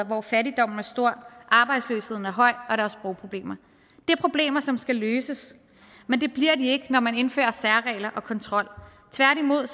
hvor fattigdommen er stor arbejdsløsheden er høj og der er sprogproblemer det er problemer som skal løses men det bliver de ikke når man indfører særregler og kontrol tværtimod